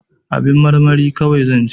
Abin marmari kawai zan ci